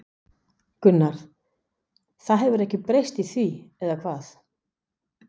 Gunnar: Það hefur ekkert breyst í því, eða hvað?